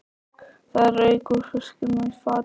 Það rauk úr fiskinum í fatinu.